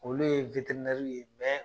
Olu ye ye